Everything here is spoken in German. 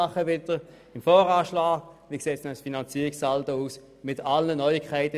Es geht um die Frage, wie der Finanzierungssaldo nächstes Jahr aussehen wird.